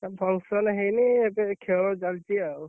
ନା function ହେଇନି। ଏବେ ଖେଳ ଚାଲଚି, ଆଉ।